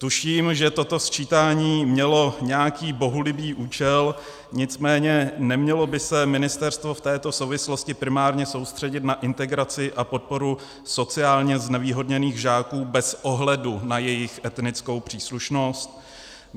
Tuším, že toto sčítání mělo nějaký bohulibý účel, nicméně nemělo by se ministerstvo v této souvislosti primárně soustředit na integraci a podporu sociálně znevýhodněných žáků bez ohledu na jejich etnickou příslušnost?